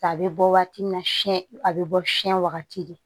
A bɛ bɔ waati min na a bɛ bɔ fiɲɛ wagati de